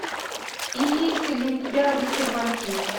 имеется ли у тебя рыцарь вампир